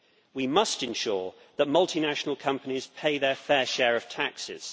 We must ensure that multinational companies pay their fair share of taxes.